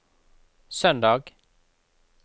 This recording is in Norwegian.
søndag